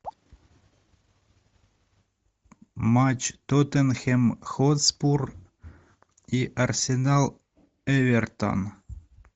матч тоттенхэм хотспур и арсенал эвертон